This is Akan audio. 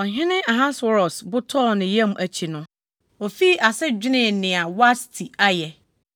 Ɔhene Ahasweros bo tɔɔ ne yam akyi yi no, ofii ase dwenee nea Wasti ayɛ